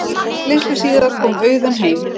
Litlu síðar kom Auðunn heim.